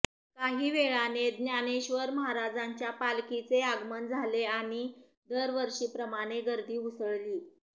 काही वेळाने ज्ञानेश्वर महाराजांच्या पालखीचे आगमन झाले आणि दरवर्षीप्रमाणे गर्दी उसळली